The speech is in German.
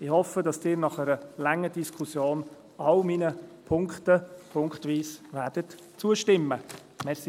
Ich hoffe, dass Sie nach einer langen Diskussion allen meinen Punkten punktweise zustimmen werden.